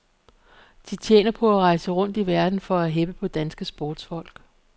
De tjener på at rejse rundt i verden for at heppe på danske sportsfolk.